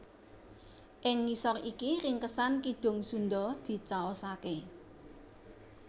Ing ngisor iki ringkesan Kidung Sundha dicaosaké